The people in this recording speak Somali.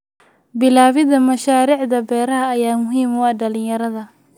Bilaabida mashaariicda beeraha ayaa muhiim u ah dhalinyarada.